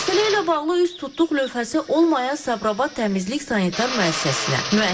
Məsələ ilə bağlı üz tutduq qurum nümayəndəsi olmayan Sabirabad Təmizlik Sanitar Müəssisəsinə.